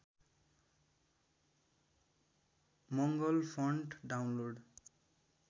Mangal font download